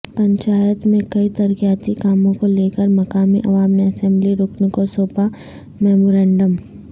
پنچایت میں کئی ترقیاتی کاموں کو لیکر مقامی عوام نے اسمبلی رکن کو سونپا میمورنڈم